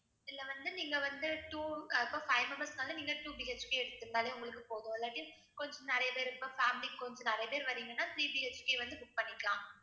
இதுல வந்து நீங்க வந்து two ஆஹ் இப்ப five members க்கு வந்து நீங்க two BHK எடுத்திருந்தாலே உங்களுக்கு போதும் இல்லாட்டி கொஞ்சம் நிறைய பேர் இப்போ family கொஞ்சம் நிறைய பேர் வர்றீங்கன்னா three BHK வந்து book பண்ணிக்கலாம்